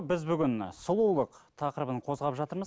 біз бүгін сұлулық тақырыбын қозғап жатырмыз